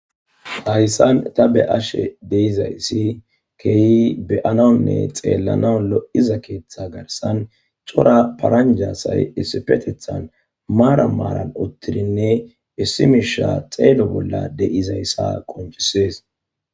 Hayssan ta be ashe deizayssi keehi beyananne xeellana lo'iza keeththa garsan cora paranjasay issifetethan maara maaran uttidinne issi miisha xeelo bolla de'izayssa qonchisees.